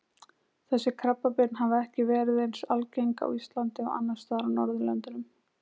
Þessi krabbamein hafa ekki verið eins algengt á Íslandi og annars staðar á Norðurlöndunum.